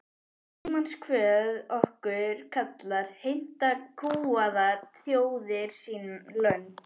Tímans kvöð okkur kallar, heimta kúgaðar þjóðir sín lönd.